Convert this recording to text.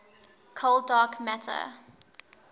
cold dark matter